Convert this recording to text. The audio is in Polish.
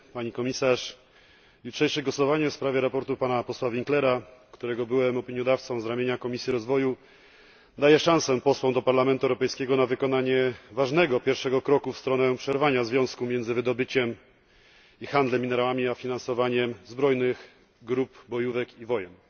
Pani Komisarz! Jutrzejsze głosowanie w sprawie sprawozdania pana posła Winklera, którego byłem opiniodawcą z ramienia Komisji Rozwoju, daje szansę posłom do Parlamentu Europejskiego na wykonanie ważnego pierwszego kroku w stronę przerwania związku między wydobyciem minerałów i handlem nimi a finansowaniem zbrojnych grup, bojówek i wojen.